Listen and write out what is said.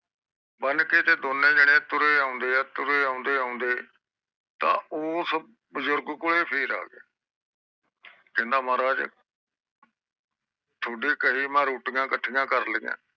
ਬਾਂਹ ਕੇ ਤੇ ਦੋਨੋ ਜਾਣੇ ਤੁਰੇ ਆਉਂਦੇ ਤੇ ਤੁਰ ਕੇ ਉਸ ਬਜ਼ੁਰਗ ਕੋਲ ਫੇਰ ਆ ਗਏ ਕਹਿੰਦੇ ਮਹਾਰਾਜ ਚਾਹੁਦੇ ਕਹੇ ਤੇ ਮੈਂ ਰੋਟੀਆਂ ਕਾਠੀਆਂ ਕਰ ਲਿਆ